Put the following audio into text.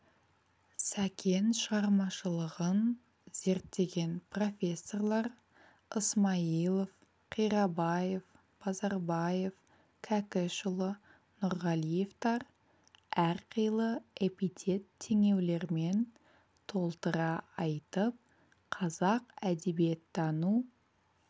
сәкен шығармашылығын зерттеген профессорлар ысмайылов қирабаев базарбаев кәкішұлы нұрғалиевтар әрқилы эпитет-теңеулермен толтыра айтып қазақ әдебиеттану